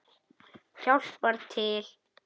Hjálpar til.